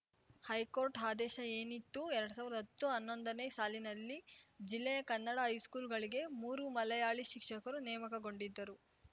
high court ಆದೇಶ ಏನಿತ್ತು ಎರಡ್ ಸಾವಿರ್ದಾ ಹತ್ತುಹನ್ನೊಂದನೇ ಸಾಲಿನಲ್ಲಿ ಜಿಲ್ಲೆಯ ಕನ್ನಡ ಹೈಸ್ಕೂಲ್‌ಗಳಿಗೆ ಮೂರು ಮಲಯಾಳಿ ಶಿಕ್ಷಕರು ನೇಮಕಗೊಂಡಿದ್ದರು